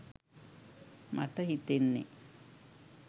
මට හිතෙන්නේ.